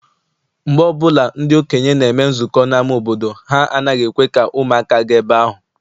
Mgbe ọbụla ndị okenye na-eme nzukọ n'ama obodo, ha anaghị ekwe ka ụmụaka gaa ebe ahụ.